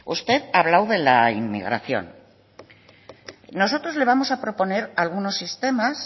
usted ha hablado de la inmigración nosotros le vamos a proponer algunos sistemas